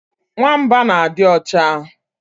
Nwamba na adi ocha